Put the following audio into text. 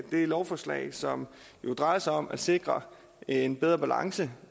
lovforslag som jo drejer sig om at sikre en bedre balance